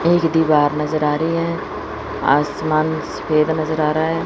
एक दीवार नजर आ रही है आसमान सफेद नजर आ रहा है।